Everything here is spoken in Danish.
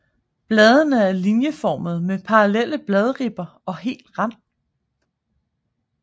Bladene er linjeformede med parallelle bladribber og hel rand